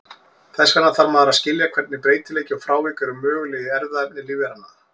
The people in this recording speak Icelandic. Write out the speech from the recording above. Þess vegna þarf maður að skilja hvernig breytileiki og frávik eru möguleg í erfðaefni lífveranna.